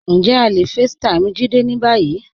Njẹ̀ à le facetime Jídé ní báyì?